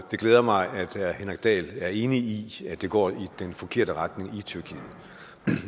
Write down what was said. det glæder mig at herre henrik dahl er enig i at det går i den forkerte retning i tyrkiet